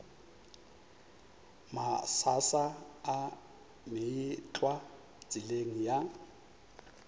mašaša a meetlwa tseleng ya